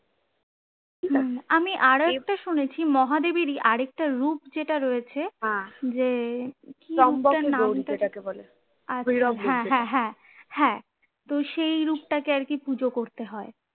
আমি আর একটু শুনেছি মহাদেবেরই আরেকটা রূপ যেটা রয়েছে যে হ্যাঁ হ্যাঁ হ্যাঁ হ্যাঁ তো সেই রূপটাকে আরকি পুজো করতে হয়